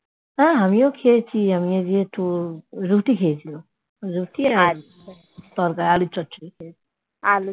আমিও খেয়েছি ওই রুটি খেয়েছিলাম রুটির সাথে আলুর চচ্চড়ি